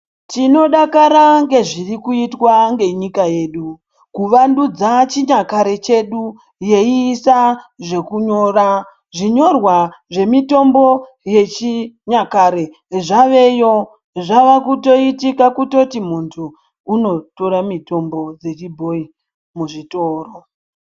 Tinodakara ngezvirikuitwa ngenyika yedu, kuvandudza chinyakare chedu, yeiisa zvekunyora. Zvinyorwa zvemitombo yechinyakare zvaveyo. Zvavekuitoitika kutoti muntu unotora mutombo dzechibhoyi muzvitoro.